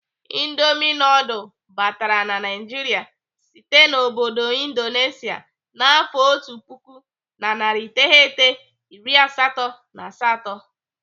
Indomi nudul batara na Naịjiria site n'obodo Indonesia n'afọ otu puku na narị iteghete iri asatọ na asatọ.